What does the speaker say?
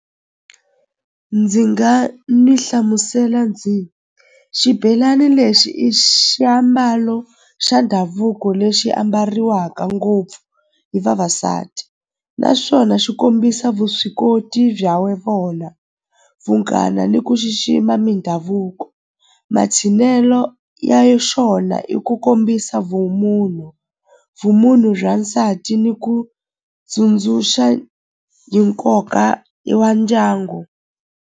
Ndzi nga ni hlamusela ndzi xibelani lexi i xiambalo xa ndhavuko lexi ambariwaka ngopfu hi vavasati naswona swi kombisa vuswikoti bya vona vunghana ni ku xixima mindhavuko ya xona i ku kombisa vumunhu, vumunhu bya nsati ni ku tsundzuxa hi nkoka wa ndyangu.